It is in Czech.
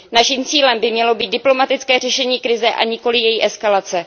Naším cílem by mělo být diplomatické řešení krize, a nikoli její eskalace.